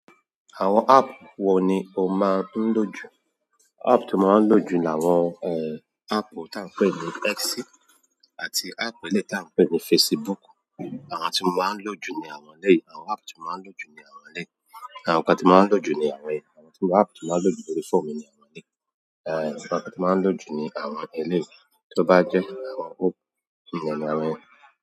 Àwọn áàpù wo ni o máa ń lò jù? Ààpù tí mo máa ń lò jù ni àwọn, eh, áàpù tí à n pè ní X àti áàpù ẹlẹ́yiì tí a n pè ní Facebook. Àwọn tí mo máa ń lò jù ni àwọn lẹ́yii. Àwọn áàpù tí mo máa ń lò jù ni àwọn elẹ́yii. Àwọn nǹkan tí mo máa ń lò jù ni àwọn èyí. Àwọn áàpù tí mo máa ń lò jù lórí fóònù mi ni àwọn elẹ́yii. Eh, àwọn nǹkan tí mo máa ń lò jù ni àwọn ẹlẹ́yi. Tí ó bá pẹ́ àwọn, ni àwọn yen.